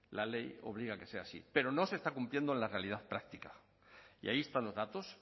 la ley obliga a que sea así pero no se está cumpliendo en la realidad práctica y ahí están los datos